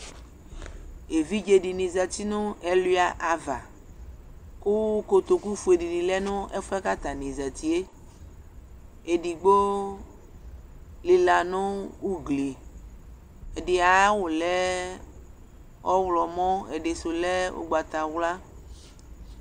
Evidze dɩnɩ zati nʋ ɛlʋɩa ava, kʋ kotoku fue dɩnɩ lɛ nʋ ɛfʋ yɛ atanɩ zati yɛ, edigbo lɩla nʋ ugli, ɛdɩ ayʋ awʋ lɛ ɔɣlɔmɔ, ɛdɩ sʋ lɛ ʋgbata wla